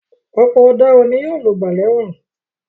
Ọ̀pọ̀ àwọn ọ̀daràn ni yóò lògbà lẹ́wọ̀n.